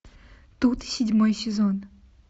тут седьмой сезон